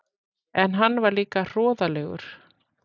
En hann var líka hroðalegur.